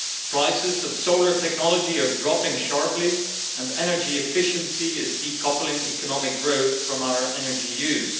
Prices of solar technology are dropping sharply and energy efficiency is decoupling economic growth from our energy use.